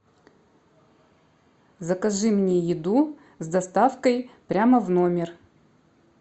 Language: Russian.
закажи мне еду с доставкой прямо в номер